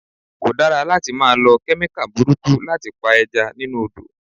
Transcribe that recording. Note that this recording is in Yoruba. Kò dára láti máa lọ Kẹ́míkà burúkú láti pa Ẹja nínú Odò.